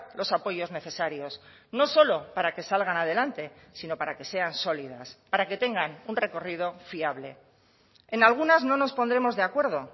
los apoyos necesarios no solo para que salgan adelante sino para que sean sólidas para que tengan un recorrido fiable en algunas no nos pondremos de acuerdo